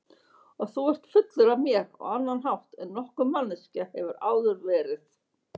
Og þú ert fullur af mér á annan hátt en nokkur manneskja hefur áður verið.